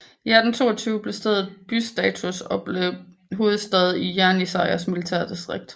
I 1822 fik stedet bystatus og var blevet hovedstad i Jenisejs militærdistrikt